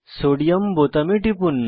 sodium বোতামে টিপুন